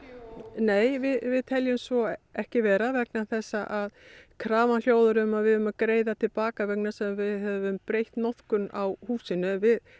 nei við teljum svo ekki vera vegna þess að krafan hljóðar um að við eigum að greiða til baka vegna þess að við höfum breytt notkun á húsinu